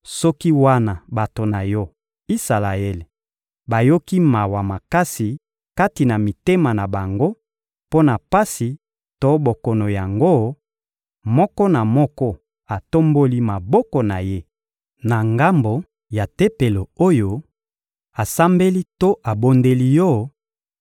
soki, wana bato na Yo, Isalaele, bayoki mawa makasi kati na mitema na bango mpo na pasi to bokono yango, moko na moko atomboli maboko na ye na ngambo ya Tempelo oyo, asambeli to abondeli Yo,